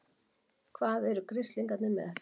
HVAÐ ERU GRISLINGARNIR MEÐ?